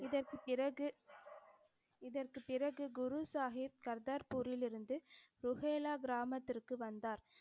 இதற்குப் பிறகு இதற்குப் பிறகு குரு சாஹிப் கர்தார்பூரிலிருந்து புகேலா கிராமத்திற்கு வந்தார்.